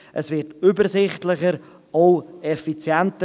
Es wir übersichtlicher, auch effizienter.